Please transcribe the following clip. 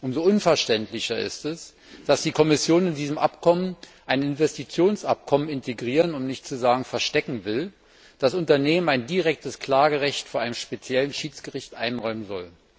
Umso unverständlicher ist es, dass die Kommission in diesem Abkommen ein Investitionsabkommen integrieren, um nicht zu sagen, verstecken will, das Unternehmen ein direktes Klagerecht vor einem speziellen Schiedsgericht einräumen soll.